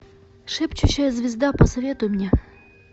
шепчущая звезда посоветуй мне